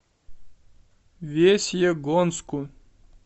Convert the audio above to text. весьегонску